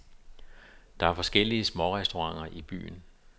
Der er forskellige smårestauranter i byen.